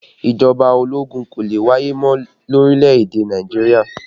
Ìjọba ológun kò lè wáyé mọ́ lórílẹ̀ èdè Nàìjíríà